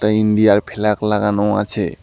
এটা ইন্ডিয়ার ফ্ল্যাক লাগানো আছে।